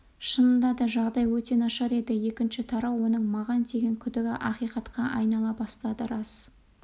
шынында да жағдай өте нашар еді екінші тарау оның маған деген күдігі ақиқатқа айнала бастады рас